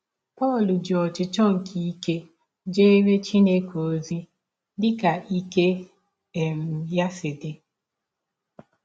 Pọl ji ọchịchọ ọbi jeere Chineke ọzi dị ka ike um ya si dị